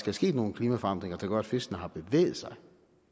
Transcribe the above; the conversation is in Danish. er sket nogle klimaforandringer som gør at fiskene har bevæget sig